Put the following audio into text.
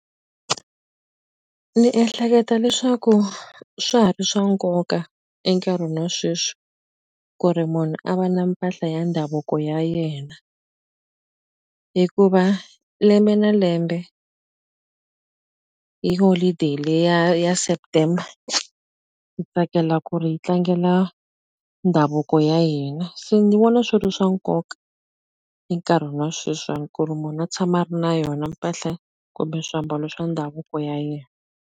Ni ehleketa leswaku swa ha ri swa nkoka enkarhini wa sweswi ku ri munhu a va na mpahla ya ndhavuko ya yena hikuva lembe na lembe hi holiday leyi ya ya September ni tsakela ku ri hi tlangela ndhavuko ya hina se ni vona swi ri swa nkoka enkarhini wa sweswiwani ku ri munhu a tshama a ri na yona mpahla kumbe swiambalo swa ndhavuko ya yena.